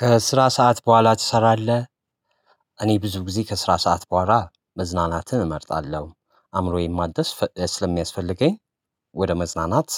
ከስራ ሰዓት በኋላ ትሰራለህ? እኔ ብዙ ጊዜ ከስራ ሰዓት በኋላ መዝናናትህን እመርጣለሁ አእምሮዬን ማደስ ፍእ ስለሚያስፈልገኝ ወደ መዝናናት